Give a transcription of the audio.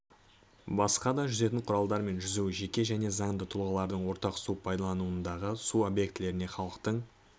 басқа да жүзетін құралдармен жүзу жеке және заңды тұлғалардың ортақ су пайдаланудағы су объектілеріне халықтың